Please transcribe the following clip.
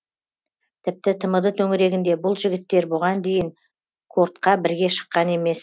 тіпті тмд төңірегінде бұл жігіттер бұған дейін кордқа бірге шыққан емес